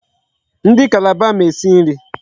Ndị Calabar ma esi nri.